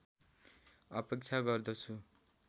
अपेक्षा गर्दछु